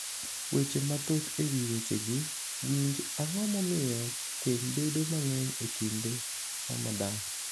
Weche mathoth e wi wechegi Winj, Ang’o momiyo keny bedo mang’eny e kinde Ramadan?